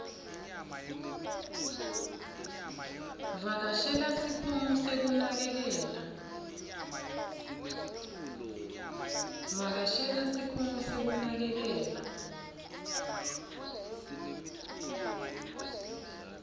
vakashela sikhungo sekunakekela